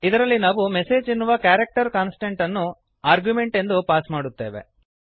ಇದರಲ್ಲಿ ನಾವು ಎಂಎಸ್ಜಿ ಎನ್ನುವ ಕ್ಯಾರಕ್ಟರ್ ಕಾನ್ಸ್ಟೆಂಟ್ಅನ್ನು ಆರ್ಗ್ಯುಮೆಂಟ್ ಎಂದು ಪಾಸ್ ಮಾಡುತ್ತೇವೆ